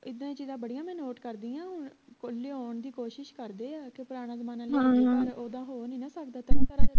ਇੱਦਾਂ ਦੀਆਂ ਚੀਜਾਂ ਬੜੀਆਂ ਮੈਂ note ਕਰਦੀ ਉਹ ਲਿਆਉਣ ਦੀ ਕੋਸ਼ਿਸ਼ ਕਰਦੇ ਆ ਕੇ ਪੁਰਾਣਾ ਜਮਾਨਾ ਓਦਾਂ ਹੋ ਨਹੀਂ ਨਾ ਸਕਦਾ